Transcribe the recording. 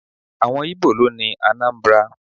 Àwọn Íbò ló ni Anambra.